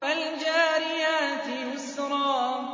فَالْجَارِيَاتِ يُسْرًا